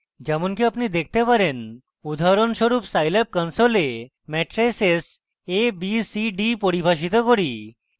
যেমনকি আপনি দেখতে পারেন উদাহরণস্বরূপ scilab console matrices a b c d পরিভাষিত করি